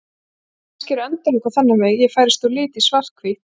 Kannski eru endalok á þennan veg: Ég færist úr lit í svarthvítt.